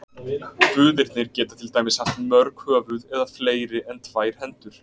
Guðirnir geta til dæmis haft mörg höfuð eða fleiri en tvær hendur.